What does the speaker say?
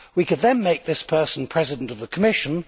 We could then make this person president of the Commission.